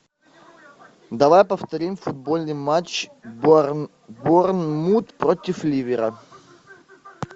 давай повторим футбольный матч борнмут против ливера